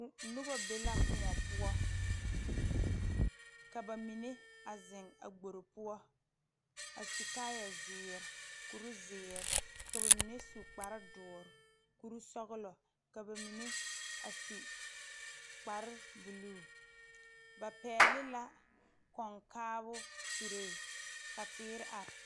Nobɔ be la kõɔ poɔ ka ba mine a zeŋ a gbore poɔ a su kaayɛ zeere kurizeere ka ba mine su kparedɔɔre kurisɔglɔ ka ba mine a su kparebluu ba pɛgle la kɔŋkaabɔ suree ka teere are .